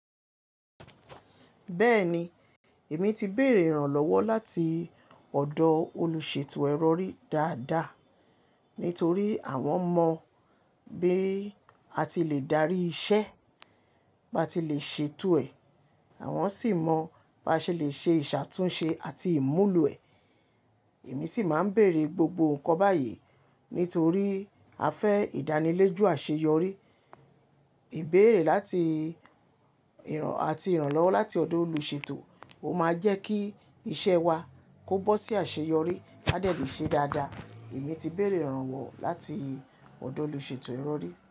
Bẹ́ẹ̀ni, èmi ti béèrè ìrànlọ́wọ́ láti ọ̀dọ̀ olùṣètò ẹrọ̀ rí dáadáa. Nítorí àwọn mọ bí a ti le darí iṣẹ́, bá ti lè ṣètò ẹ̀. Àwọn sì mọ bá ṣe lè ṣe ìṣàtúnṣe àti ìmúlò ẹ̀. Èmi sì máa ń bèèrè gbogbo nǹkan báyìí nítorí à fẹ́ ìdánilojú àṣeyọrí. Ìbéèrè làti ìràn ati iranlọ́wọ́ láti ọ̀dọ̀ olùṣètò, o máa jẹ́ kí iṣẹ́ wa kó bọ́ sí àṣeyọrí, ká dé le ṣe e dáadáa. Èmi ti béèrè ìrànwọ́ láti ọ̀dọ̀ olùṣètò ẹrọ̀ rí.